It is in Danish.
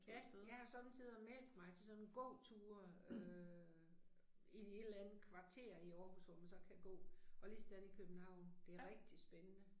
Ja, jeg har somme tider meldt mig til sådan gåture øh i et eller andet kvarter i Aarhus hvor man så kan gå og ligesådan i København, det er rigtig spændende